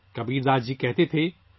کبیرداس جی کہا کرتے تھے